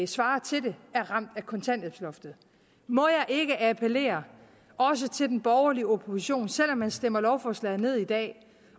svarer til det er ramt af kontanthjælpsloftet må jeg ikke appellere også til den borgerlige opposition selv om man stemmer lovforslaget ned i dag